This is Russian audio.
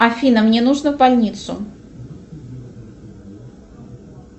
афина мне нужно в больницу